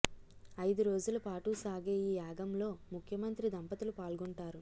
ఐదు రోజుల పాటు సాగే ఈ యాగంలో ముఖ్యమంత్రి దంపతులు పాల్గొంటారు